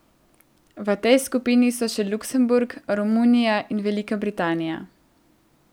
V tej skupini so še Luksemburg, Romunija in Velika Britanija.